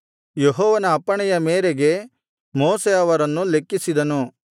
ಯೆಹೋವನ ಅಪ್ಪಣೆಯ ಮೇರೆಗೆ ಮೋಶೆ ಅವರನ್ನು ಲೆಕ್ಕಿಸಿದನು